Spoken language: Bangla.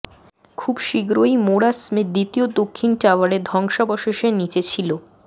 খুব শীঘ্রই মোরা স্মিথ দ্বিতীয় দক্ষিণ টাওয়ারের ধ্বংসাবশেষের নিচে ছিল